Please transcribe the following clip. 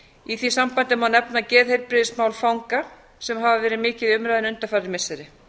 í því sambandi má nefna geðheilbrigðismál fanga sem hafa verið mikið í umræðunni undanfarin missiri